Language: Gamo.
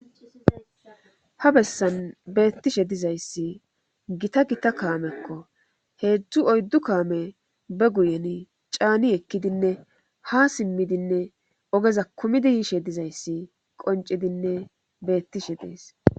ha bessan beettishe dizayssi gita gita kaamekko heedzdzu oyddu kaame be guyen caani ekkidinne ha simmidinne ogeza kumidi yiishe dizayssi qoncidinne beettishe dees